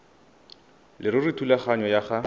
leruri thulaganyo ya go